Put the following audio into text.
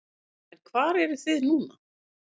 En hvar eruð þið nú?